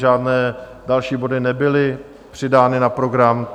Žádné další body nebyly přidány na program.